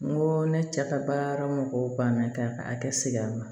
N ko ne cɛ ka baara mɔgɔw banna k'a ka hakɛ sigi a ma